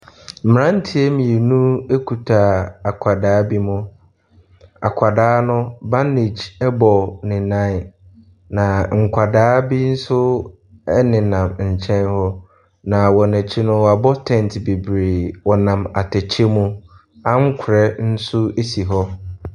Mmeranteɛ mmienu kuta akwadaa bi mu. Akwadaa no, bandage bɔ ne nan, na nkwadaa bi nso nenam nkyɛn hɔ, na sɔn akyi no, wɔabɔ tɛnte bebree. Wɔnam atɛkyɛ mu. Ankorɛ nso si hɔ.